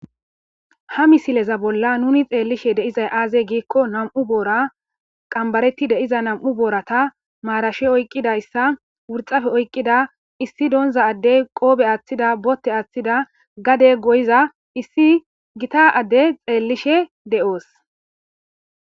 Ha missileza bolla nuni xelishe dizay aze giko nam'u boora qanbbareti diiza nam'u booratan marashe oyqidaysa worxafe oyqida issi donza adey qobbe aththida boote athida gaade goyiza issi giita adey xellishe de'osi.